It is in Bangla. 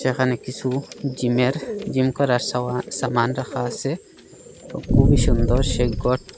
এখানে কিসু জিমে র জিম করার সমান সামান রাখা আসে খুবই সুন্দর সেই গরটি ।